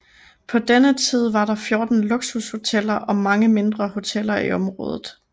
På denne tid var der 14 luksushoteller og mange mindre hoteller i området